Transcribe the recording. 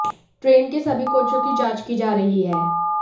train के सभी कोचों की जांच की जा रही है